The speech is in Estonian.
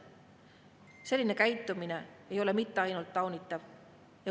Selline käitumine ei ole mitte ainult taunitav.